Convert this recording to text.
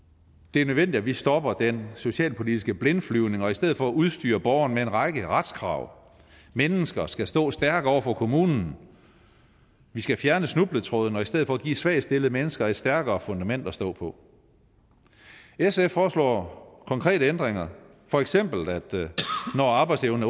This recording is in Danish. er nødvendigt at vi stopper den socialpolitiske blindflyvning og i stedet for udstyrer borgerne med en række retskrav mennesker skal stå stærkt over for kommunen vi skal fjerne snubletrådene og i stedet for give svagt stillede mennesker et stærkere fundament at stå på sf foreslår konkrete ændringer for eksempel at når arbejdsevnen